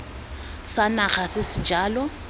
sa naga se se jalo